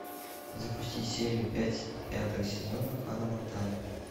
запусти серию пять пятого сезона ханна монтана